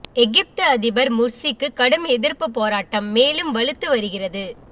எகிப்து அதிபர் முர்சிக்கு கடும் எதிர்ப்பு போராட்டம் மேலும் வலுத்து வருகிறது